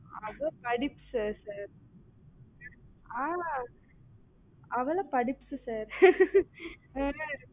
sir ஆஹ் அவளாம் படிப்ஸ் sir ஆஹ்